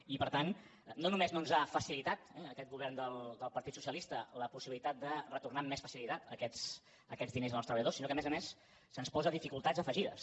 i per tant no només no ens ha facilitat aquest govern del partit socialista la possibilitat de retornar amb més facilitat aquests diners als treballadors sinó que a més a més se’ns posa dificultats afegides